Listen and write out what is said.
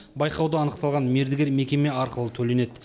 байқауда анықталған мердігер мекеме арқылы төленеді